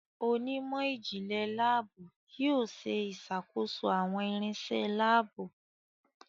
Onímò jinle laabu yóò ṣe ìṣàkóso àwọn irinṣẹ́ laabu.